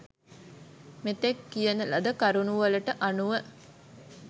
මෙතෙක් කියන ලද කරුණුවලට අනුව